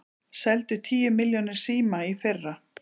Seldu tíu milljónir síma í fyrra